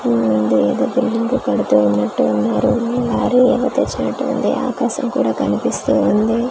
ఇది ఏదో బిల్డింగ్ కడుతూ ఉన్నట్టు ఉన్నారు లారీ ఏమో తెచ్చినట్టు ఉంది ఆకాశం కూడా కనిపిస్తూ ఉంది .